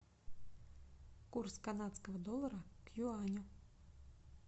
курс канадского доллара к юаню